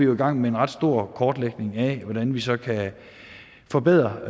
nu i gang med en ret stor kortlægning af hvordan vi så kan forbedre